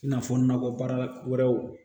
I n'a fɔ nakɔbaara wɛrɛw